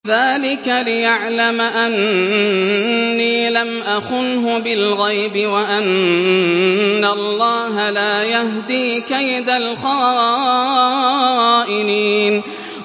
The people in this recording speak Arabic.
ذَٰلِكَ لِيَعْلَمَ أَنِّي لَمْ أَخُنْهُ بِالْغَيْبِ وَأَنَّ اللَّهَ لَا يَهْدِي كَيْدَ الْخَائِنِينَ